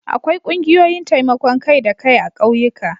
Akwai ƙungiyoyin taimakon kai-da-kai a ƙauyuka.